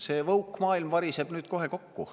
See woke-maailm variseb nüüd kohe kokku.